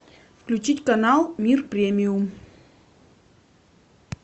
включить канал мир премиум